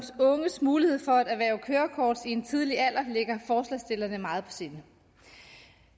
unges mulighed for at erhverve kørekort i en tidlig alder ligger forslagsstillerne meget sinde